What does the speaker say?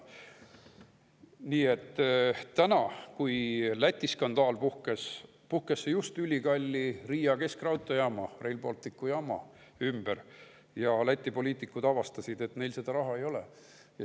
Nii et nüüd, kui Lätis skandaal puhkes, puhkes see just ülikalli Riia keskraudteejaama, Rail Balticu jaama ümber ja Läti poliitikud avastasid, et neil seda raha ei ole.